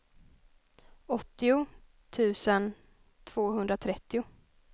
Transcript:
åttio tusen tvåhundratrettio